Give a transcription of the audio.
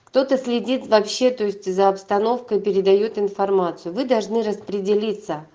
кто-то следит вообще-то есть за обстановкой передаёт информацию вы должны распределиться